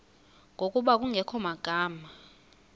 ngokuba kungekho magama